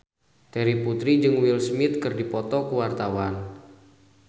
Terry Putri jeung Will Smith keur dipoto ku wartawan